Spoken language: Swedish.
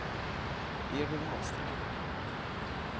Evy Wahlström